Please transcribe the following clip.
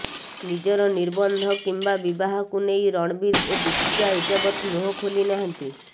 ନିଜର ନିର୍ବନ୍ଧ କିମ୍ବା ବିବାହକୁ ନେଇ ରଣବୀର ଓ ଦୀପିକା ଏଯାବତ ମୁହଁ ଖୋଲି ନାହାନ୍ତି